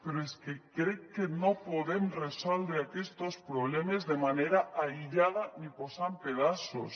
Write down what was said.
però és que crec que no podem resoldre aquestos problemes de manera aïllada ni posant hi pedaços